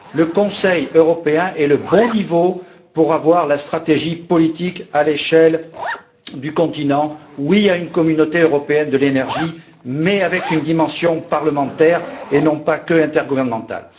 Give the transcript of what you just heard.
Le Conseil européen est le bon niveau pour décider de la stratégie politique à l'échelle du continent. Oui à une communauté européenne de l'énergie, mais avec une dimension parlementaire et non pas seulement intergouvernementale.